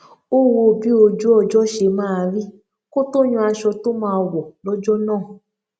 ó wo bí ojú ọjó ṣe máa rí kó tó yan aṣọ tó máa wò lójó náà